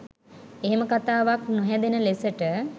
එහෙම කතාවක් නොහැදෙන ලෙසට